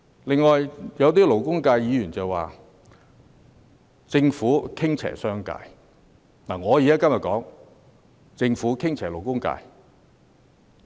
此外，有些勞工界議員指政府傾斜商界，但我想說是政府傾斜勞工界。